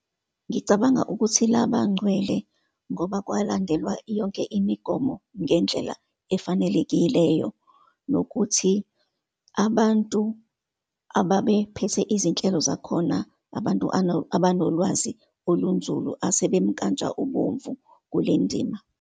Ngicabanga ukuthi labangcwele ngoba kwalandelwa yonke imigomo ngendlela efanelekileyo, nokuthi abantu ababephethe izinhlelo zakhona, abantu abanolwazi olunzulu, asebemnkantshubovu kule ndima.